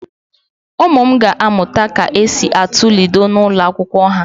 Ụmụ m ga amụta ka esi atu Ludo n'ụlọ akwụkwọ ha.